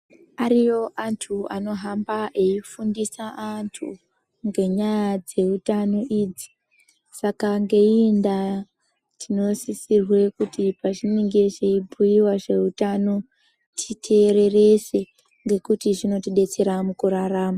Ariyo antu anohamba eifundisa antu ngenyaya dzeutano idzi, saka ngeiyi ndaa tinosisirwe kuti pazvinenge zveibhuyiwa zveutano titeererese ngekuti zvinotidetsera mukurarama.